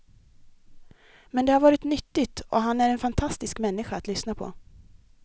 Men det har varit nyttigt och han är en fantastisk människa att lyssna på.